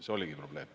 See oligi probleem.